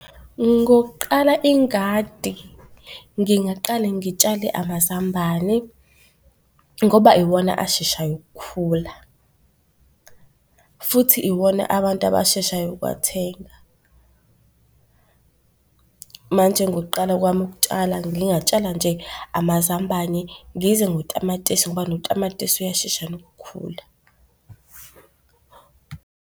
Ngokuqala ingadi, ngingaqale ngitshale amazambane ngoba iwona asheshayo ukukhula futhi iwona abantu abasheshayo ukuwathenga. Manje ngokuqala kwami ukutshala ngingatshala nje amazambane, ngize ngotamatisi ngoba notamatisi uyashesha nokukhula.